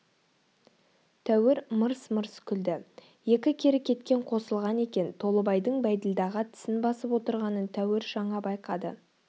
тәуір мырс-мырс күлді екі кері кеткен қосылған екен толыбайдың бәйділдаға тісін басып отырғанын тәуір жаңа байқады